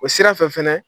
O sira fɛ fɛnɛ